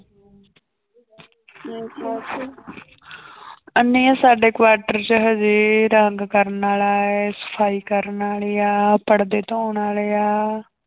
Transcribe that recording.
ਨਹੀਂ ਸਾਡੇ quarter ਚ ਹਜੇ ਰੰਗ ਕਰਨ ਵਾਲਾ ਹੈ, ਸਫ਼ਾਈ ਕਰਨ ਵਾਲੀ ਆ, ਪੜਦੇ ਧੋਣ ਵਾਲੇ ਆ।